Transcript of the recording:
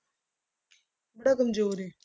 ਬੜਾ ਕੰਮਜ਼ੋਰ ਹੈ।